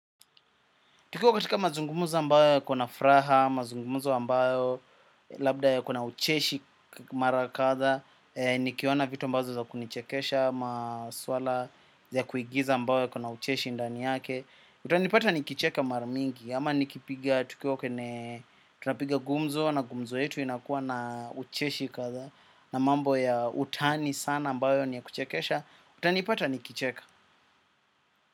Tukiwa katika mazungumzo mbayo yakona furaha, mazungumuzo mbayo, labda yakona ucheshi mara kadhaa, nikiona vitu mbazo za kunichekesha, maswala ya kuigiza mbayo yakona ucheshi ndani yake. Utanipata nikicheka mara mingi, ama nikipiga, tukiwa, tunapiga gumzo, na gumzo yetu inakuwa na ucheshi kadha, na mambo ya utani sana ambayo ni ya kuchekesha, utanipata nikicheka.